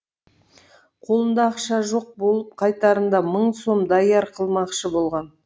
қолында ақша жоқ болып қайтарында мың сом даяр қылмақшы болған